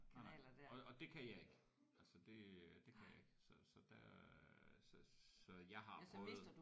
Nej nej og og det kan jeg ikke altså det øh det kan jeg ikke så så der så så jeg har prøvet